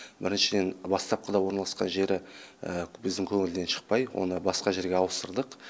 біріншіден бастапқыда орналасқан жері біздің көңілден шықпай оны басқа жерге ауыстырдық